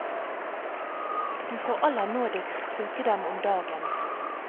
Du får aller nådigst bruke dem om dagen.